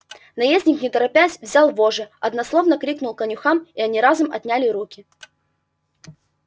наездник не торопясь взял вожжи односложно крикнул конюхам и они разом отняли руки